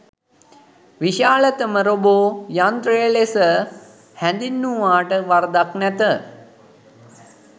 විශාලතම රෝබෝ යන්ත්‍රය ලෙස හැඳින්වූවාට වරදක් නැත.